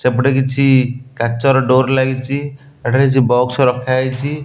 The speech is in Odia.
ସେପଟେ କିଛି କାଚର ଡୋର ଲାଗିଛି ଏଠାରେ କିଛି ବକ୍ସ ରଖାହେଇଛି।